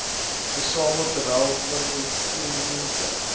versamel terwyl pertinente